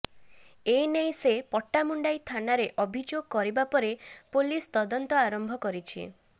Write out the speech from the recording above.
ଏନେଇ ସେ ପଟ୍ଟାମୁଣ୍ଡାଇ ଥାନାରେ ଅଭିଯୋଗ କରିବା ପରେ ପୋଲିସ ତଦନ୍ତ ଆରମ୍ଭ କରିଛି